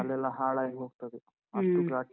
ತಲೆ ಎಲ್ಲ ಹಾಳಾಗಿ ಹೋಗ್ತದೆ .